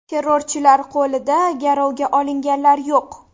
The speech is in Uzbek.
Terrorchilar qo‘lida garovga olinganlar yo‘q.